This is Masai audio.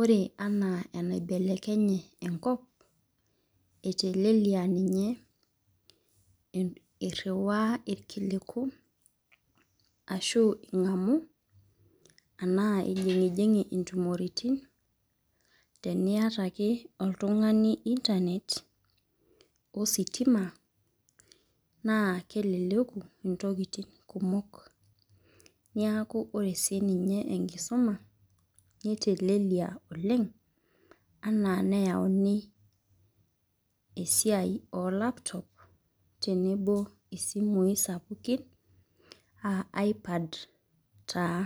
ore anaa enkibelekenye enkop. eteleliaa ninye eriwaa irkiliku ashu ingamu anaa ijingijing'i intumoritin, teniata ake oltungani internet ositima. naa keleleku ntokitin kumok. niaku ore sii ninye enkisuma neteleliaa oleng anaa neyauni esiai oo laptop tenebo isimui sapukin aa i iPad taa.